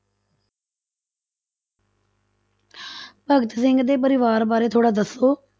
ਭਗਤ ਸਿੰਘ ਦੇ ਪਰਿਵਾਰ ਬਾਰੇ ਥੋੜ੍ਹਾ ਦੱਸੋ।